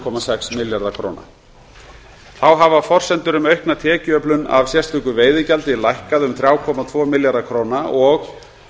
komma sex milljarða króna þá hafa forsendur um aukna tekjuöflun af sérstöku veiðigjaldi lækkað um þrjá komma tvo milljarða króna og